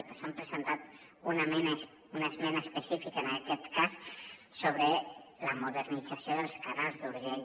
per això hem presentat una esmena específica en aquest cas sobre la modernització dels canals d’urgell